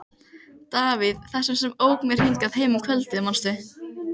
Davíð, þessum sem ók mér hingað heim um kvöldið, manstu?